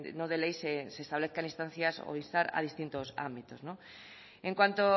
no de ley se establezca en instancias o instar a distintos ámbitos no en cuanto